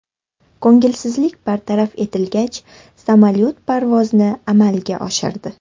Ko‘ngilsizlik bartaraf etilgach, samolyot parvozni amalga oshirdi.